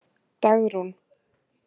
Dagrún